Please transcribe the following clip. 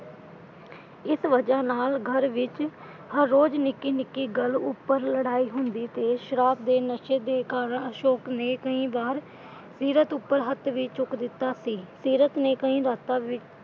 ਇਸ ਵਜ੍ਹਾ ਨਾਲ ਘਰ ਵਿਚ ਹਰ ਰੋਜ ਨਿੱਕੀ ਨਿੱਕੀ ਗੱਲ ਉੱਪਰ ਲੜਾਈ ਹੁੰਦੀ ਤੇ ਸ਼ਰਾਬ ਦੇ ਨਸ਼ੇ ਦੇ ਕਾਰਨ ਅਸ਼ੋਕ ਨੇ ਕਈ ਵਾਰ ਸੀਰਤ ਉੱਪਰ ਹੱਥ ਵੀ ਚੁੱਕ ਦਿੱਤਾ ਸੀ। ਸੀਰਤ ਨੇ ਕਈ ਰਾਤਾਂ ਵੀ,